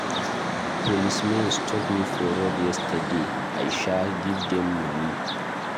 Policemen stop me for road yesterday, I sha give dem money.